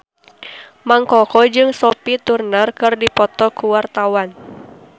Mang Koko jeung Sophie Turner keur dipoto ku wartawan